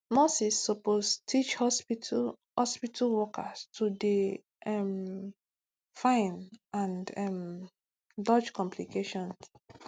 nurses suppose teach hospitu hospitu workers to dey um fine and um dodge complication